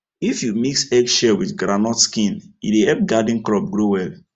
if you mix egg shell with groundnut skin e dey help garden crops grow well